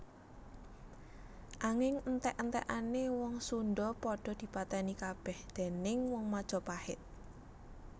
Anging entèk entèkané wong Sundha padha dipatèni kabèh déning wong Majapait